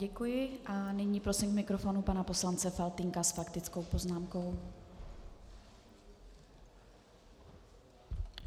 Děkuji a nyní prosím k mikrofonu pana poslance Faltýnka s faktickou poznámkou.